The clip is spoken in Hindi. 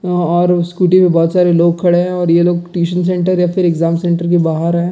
और स्कूटी पे बहुत सारे लोग खड़े हैं और ये लोग ट्यूशन सेंटर या फिर एग्जाम सेंटर के बाहर हैं।